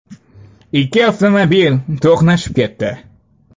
Ikki avtomobil to‘qnashib ketdi.